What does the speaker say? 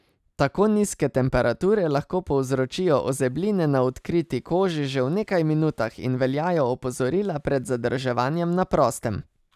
Tako nizke temperature lahko povzročijo ozebline na odkriti koži že v nekaj minutah in veljajo opozorila pred zadrževanjem na prostem.